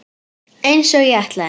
Einsog ég ætlaði.